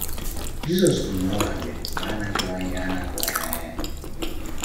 Jisos kwuru na ọ ga abia mgbe a na atuwaghi a na atuwaghi anya ya.